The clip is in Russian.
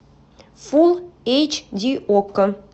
фулл эйч ди окко